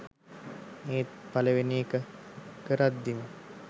ඒත් පළවෙනි එක කරද්දිම